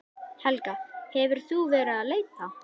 Helga: Hefur þú verið að leita?